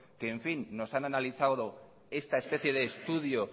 que en fin nos han analizado esta especie de estudio